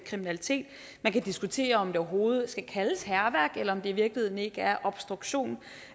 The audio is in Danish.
kriminalitet man kan diskutere om det overhovedet skal kaldes hærværk eller om det i virkeligheden ikke er obstruktion